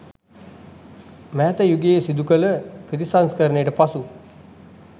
මෑත යුගයේ සිදු කළ ප්‍රතිසංස්කරණයට පසු